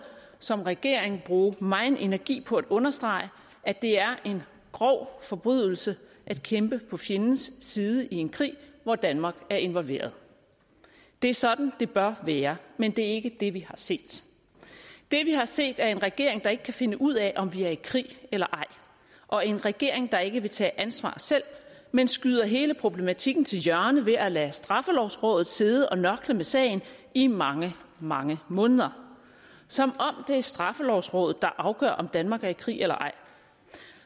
som regering bruge megen energi på at understrege at det er en grov forbrydelse at kæmpe på fjendens side i en krig hvor danmark er involveret det er sådan det bør være men det er ikke det vi har set det vi har set er en regering der ikke kan finde ud af om vi er i krig eller ej og en regering der ikke vil tage ansvar selv men skyder hele problematikken til hjørne ved at lade straffelovrådet sidde og nørkle med sagen i mange mange måneder som om det er straffelovrådet der afgør om danmark er i krig eller ej